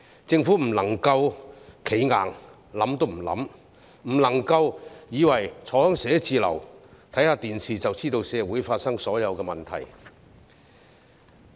政府不能夠"企硬"，完全不加以考慮，亦不能夠以為坐在辦公室內收看電視，便可清楚社會上發生的所有問題。